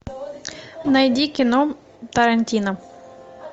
найди кино тарантино